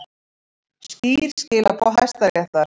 Skýr skilaboð Hæstaréttar